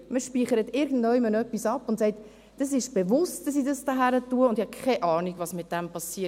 Man speichert irgendwo etwas ab und sagt: «Das ist bewusst, dass ich das hier hin tue, und ich habe keine Ahnung, was damit geschieht.